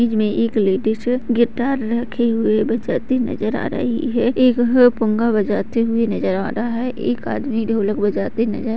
image में एक ladies guitar रखी हुए बजाती हुई नजर आ रही है एक पुंगा बजाते हुए नजर आ रहा है एक आदमी ढोलक बजाते नजर --